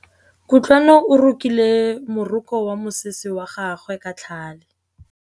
Kutlwanô o rokile morokô wa mosese wa gagwe ka tlhale.